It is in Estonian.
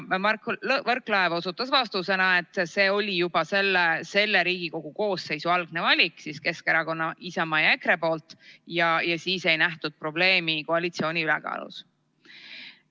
Mart Võrklaev ütles vastuseks, et see oli juba selle Riigikogu koosseisu algse koalitsiooni ehk Keskerakonna, Isamaa ja EKRE valik ning siis ei nähtud probleemi koalitsiooni ülekaalus.